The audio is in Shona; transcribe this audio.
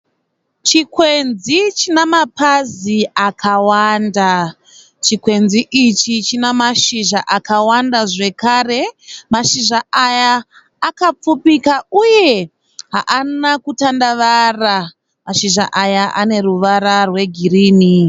Chikwenzi china mapazi akawanda. Chikwenzi ichi china mashizha akawanda, zvekare mashizha aya akapfupika uye haana kutandavara. Mashizha aya ane ruvara rwegirini.